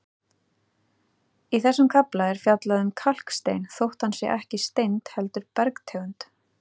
Í þessum kafla er fjallað um kalkstein þótt hann sé ekki steind heldur bergtegund.